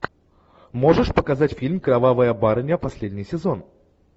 можешь показать фильм кровавая барыня последний сезон